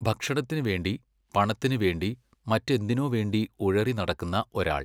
ഭക്ഷണത്തിനു വേണ്ടി പണത്തിനു വേണ്ടി മറ്റെന്തിനോ വേണ്ടി ഉഴറി നടക്കുന്ന ഒരാൾ?